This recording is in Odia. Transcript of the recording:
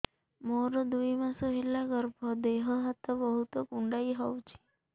ମୋର ଦୁଇ ମାସ ହେଲା ଗର୍ଭ ଦେହ ହାତ ବହୁତ କୁଣ୍ଡାଇ ହଉଚି